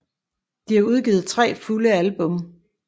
De har udgivet 3 fulde album